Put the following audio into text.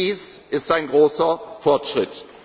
Dies ist ein großer Fortschritt.